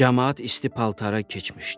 Camaat isti paltara keçmişdi.